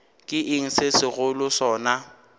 ke eng se segolo sona